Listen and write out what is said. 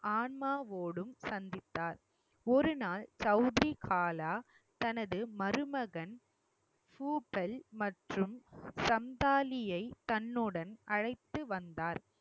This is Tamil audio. ஆன்மாவோடும் சந்தித்தார் ஒரு நாள் சவுதிரி காலா தனது மருமகன் மற்றும் சந்தாலியை தன்னுடன் அழைத்து வந்தார்